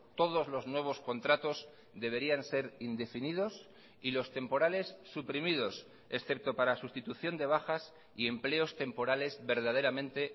todos los nuevos contratos deberían ser indefinidos y los temporales suprimidos excepto para sustitución de bajas y empleos temporales verdaderamente